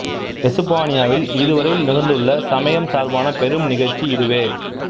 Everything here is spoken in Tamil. எசுப்பானியாவில் இதுவரை நிகழ்ந்துள்ள சமயம் சார்பான பெரும் நிகழ்ச்சி இதுவே